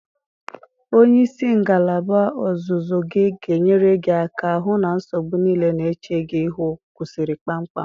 Onye isi ngalaba ọzụzụ gị ga-enyere gị aka hụ na nsogbu niile na-eche gị ihu kwụsịrị kpamkpam.